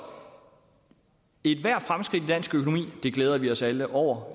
ethvert fremskridt i dansk økonomi glæder vi os alle over